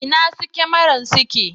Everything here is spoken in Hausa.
Inna su kyamaran suke?